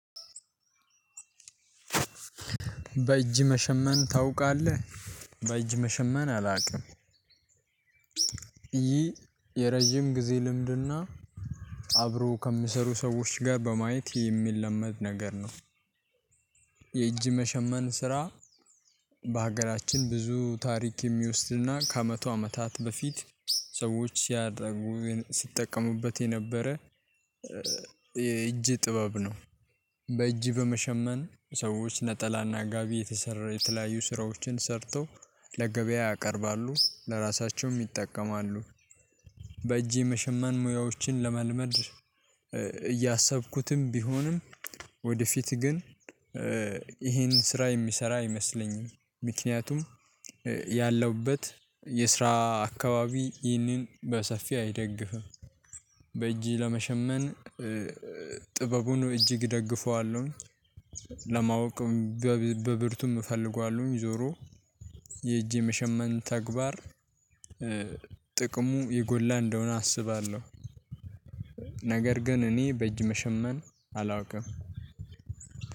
በእጅ መሸመን ታውቃለህ? በእጅ መሸመን አላውቅም ይህ የረጅም ጊዜ ልምድ እና አብሮ ከሚሰሩ ሰዎች ጋር በማየት የሚለመድ ነገር ነው። የእጅ መሸመን ስራ በሀገራችን ብዙ ታሪክ የሚወስድ እና ከመቶ አመታት በፊት ሰዎች ሲያጠ ሲጠቀሙበት የነበረ የእጅ ጥበብ ነው። በእጅ በመሸመን ሰዎች ነጠላ እና ጋቢ የተሰራ የተለያዩ ስራዎችን ሰርተው ለገበያ ያቀርባሉ፣ ለራሳቸውም ይጠቀማሉ። በእጄ መሸመን ሙያዎችን ለመልመድ እያሰብኩትም ቢሆንም ወደፊት ግን ይሄን ስራ የሚሰራ አይመስለኝም ምክንያቱም ያለውበት የስራ አካባቢ ይህንን በሰፊ አይደግፍም። በእጅ ለመሸመን ጥበቡን እጅግ እደግፈዋለሁ። ለማወቅ በብርቱም እፈልገዋለሁ ዞሮ የእጄ የመሸመን ተግባር ጥቅሙ የጎላ እንደሆነ አስባለሁ። ነገር ግን እኔ በእጅ መሸመን አላውቅም።